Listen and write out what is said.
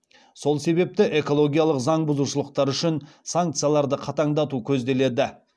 сол себепті экологиялық заң бұзушылықтар үшін санкцияларды қатаңдату көзделеді